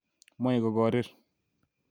Moye kokorik